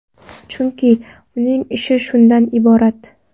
Chunki, uning ishi shundan iborat.